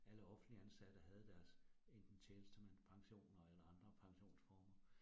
Alle offentligt ansatte havde deres enten tjenestemandspensioner eller andre pensionsformer